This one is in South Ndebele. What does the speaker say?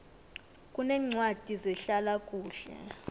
kuneencwadi zehlala kuhle